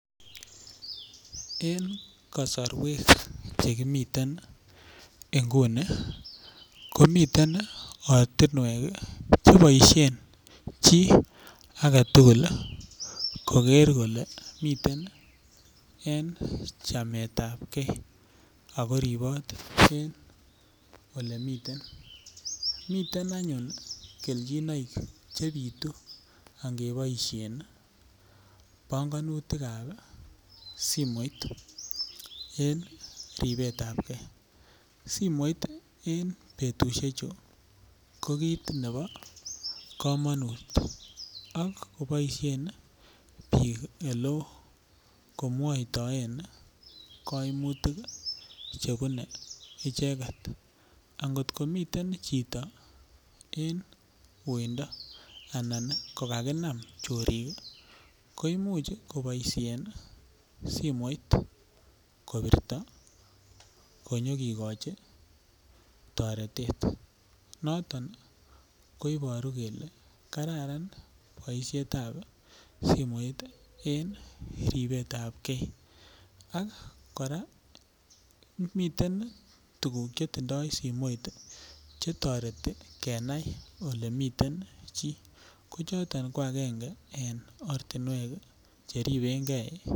En kosorwek chekimiten nguni komiten ortinwek cheboishen chii agetugul koker kole miten en chamet ap kee ako riipot en oleimiten miten anyun kelchinoik chebitu angeboishe pongonutik ap simoit en ribet ap kee simoit en betushek chu ko kiit nebo komonut ak koboishen biik eloo komwoitoen koimutik chebune icheket angotkomiten chito en weindo anan kokakinam chorik koimuch koboishen simoit kobirto konyekekoch toretet noton koiboru kele kararan boishet ap simoit en ribet ap kee ak kora miten tukuk chetindoi simoit chetoreti kenai ole miten chii ko choton ko akenge eng ortinwek cheripenkei